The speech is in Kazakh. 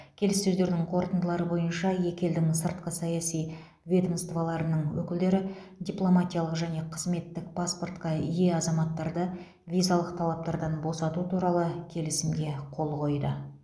келіссөздердің қорытындылары бойынша екі елдің сыртқы саяси ведомстволарының өкілдері дипломатиялық және қызметтік паспортқа ие азаматтарды визалық талаптардан босату туралы келісімге қол қойды